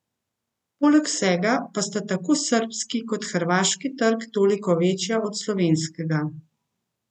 Poleg vsega pa sta tako srbski kot hrvaški trg toliko večja od slovenskega.